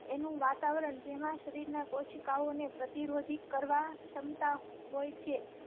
એ નું વાતાવરણ જેમાં શરીર ના કોશિકાઓ ને પ્રતિરોધી કરવા ક્ષમતા હોય છે.